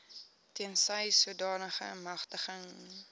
tensy sodanige magtiging